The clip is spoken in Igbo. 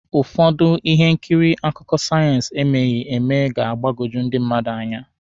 Ụfọdụ ihe nkiri akụkọ sayensị emeghị eme ga-agbọgbu ndị mmadụ.